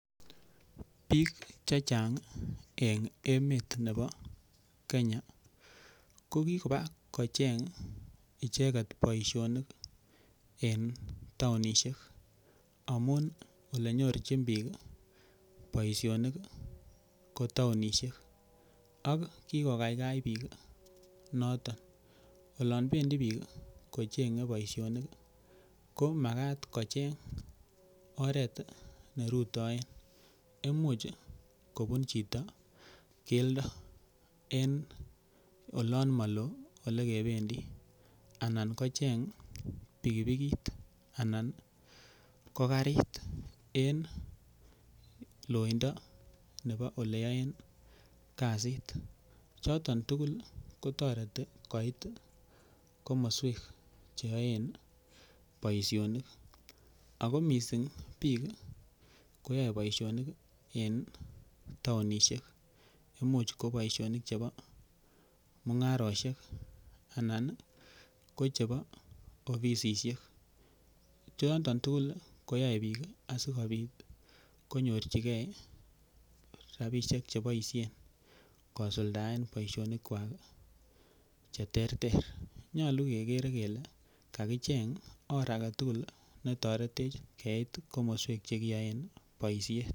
Biik che chang en emet nebo Kenya kogiba kocheng icheget boisionik en taonishek amun ele nyorjin biik boisionik ko taonishek ak kigokaikai biik noton olon bendi biik kocheng boisionik komagat kocheng oret ne rutoen imuch kobun chito keldo en olon mo loo ele kebendi anan kocheng pikipikit anan ko karit en loindo nebo ole yoen kasit choton tugul kotoreti koit komoswek che yoen boisionik ago mising biiik koyae boisionik en taonisiek. Imuch ko boisionik chebo mung'arosiek anan ko chebo ofisishek choton tugul koyae biik asikobit konyorji ge rabishek che boisiien kosuldaen boisionik kwak che terter. Nyolu kegere kele kagicheng or age tugul ne toretech keit komoswek che kiboisien.